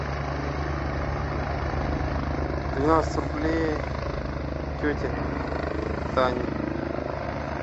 двенадцать рублей тете тане